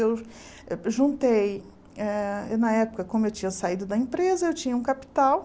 Eu eh juntei, eh na época, como eu tinha saído da empresa, eu tinha um capital.